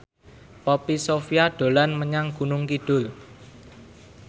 Poppy Sovia dolan menyang Gunung Kidul